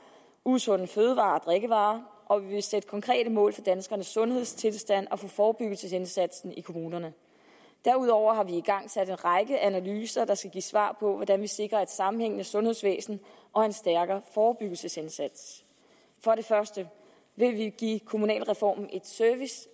usunde fødevarer og drikkevarer og vi vil sætte konkrete mål for danskernes sundhedstilstand og for forebyggelsesindsatsen i kommunerne derudover har vi igangsat en række analyser der skal give et svar på hvordan vi sikrer et sammenhængende sundhedsvæsen og en stærkere forebyggelsesindsats for det første vil vi give kommunalreformen